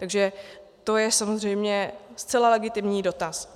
Takže to je samozřejmě zcela legitimní dotaz.